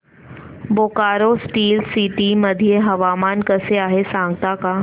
Bokaro steel city मध्ये हवामान कसे आहे सांगता का